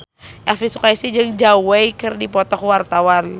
Elvi Sukaesih jeung Zhao Wei keur dipoto ku wartawan